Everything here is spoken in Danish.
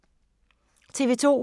TV 2